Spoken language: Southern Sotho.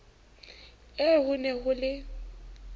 eo ho ne ho le